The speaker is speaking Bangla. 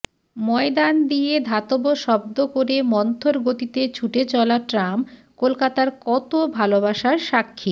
ময়দান দিয়ে ধাতব শব্দ করে মন্থর গতিতে ছুটে চলা ট্রাম কলকাতার কত ভালবাসার সাক্ষী